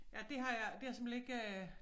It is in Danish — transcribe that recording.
Ja det har jeg det har jeg simpelthen ikke øh